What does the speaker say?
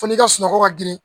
Fo n'i ka sunɔgɔ ka girin